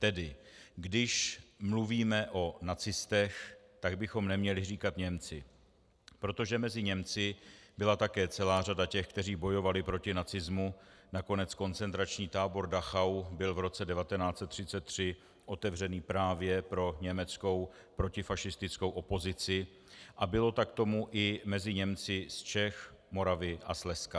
Tedy když mluvíme o nacistech, tak bychom neměli říkat Němci, protože mezi Němci byla také celá řada těch, kteří bojovali proti nacismu, nakonec koncentrační tábor Dachau byl v roce 1933 otevřený právě pro německou protifašistickou opozici a bylo tak tomu i mezi Němci z Čech, Moravy a Slezska.